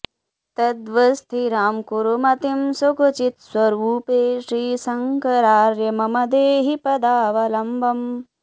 तद्वत्स्थिरां कुरु मतिं सुखचित्स्वरूपे श्रीशङ्करार्य मम देहि पदावलम्बम्